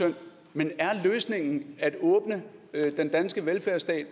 men er løsningen at åbne den danske velfærdsstat